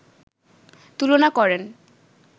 তুলনা করেন